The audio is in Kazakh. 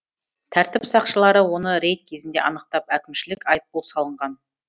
тәртіп сақшылары оны рейд кезінде анықтап әкімшілік айыппұл салынған